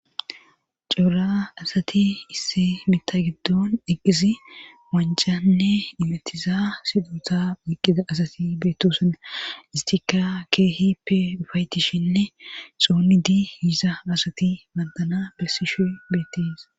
Cora asati isse mita giddon eqqizi wancanne dimettiza sidota eqqiza asati beettosana istika keehi pe ufaayetishinne xoonni dii yiiza asati bandana bessishe beettis